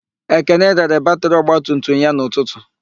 Ekene rere batịrị ogbatumutum ya n'ụtụtụ.